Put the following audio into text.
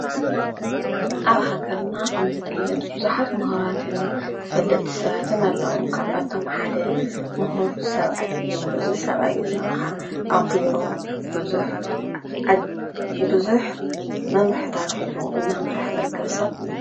ኣብ ሃገርና ከም ዝፍለጥ ቡዛሓት ሙሁራትን ተፈለጥትን ሰባት ኣለዉ። ካብኣቶም ሓደ ሙሁር ሰባኣይ እዩ። እዚ ሰባኣይ እዚ ኸዓ ኣብ ቢሮ ቡዙሕ መምርሕታት ሒዙ እናመረሐ ዝርክብ ሰብ እዩ።